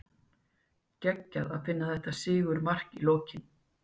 Geggjað að Finna þetta sigurmark í lokin!